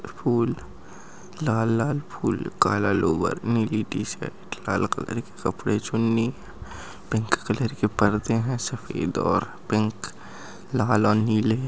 फुल लाल लाल फुल काला लोवर नीली टी-शर्ट लाल कलर की कपड़े चुन्नी पिंक कलर के परदे है सफ़ेद और पिंक लाल और नीले--